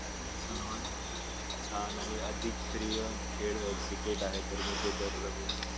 सर्वात छान आणि अति प्रिय खेळ क्रिकेट आहे तर मी ते दर रविवारी